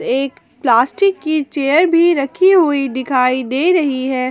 एक प्लास्टिक की चेयर भी रखी हुई दिखाई दे रही है।